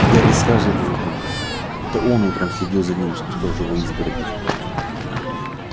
гарри сразу его узнал это он утром следил за ним из кустов живой изгороди